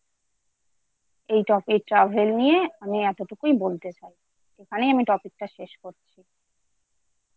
এই Topic Travel নিয়ে আমি এতটুকুই বলতে চাই৷ এখানে আমি Topic টা শেষ করছি।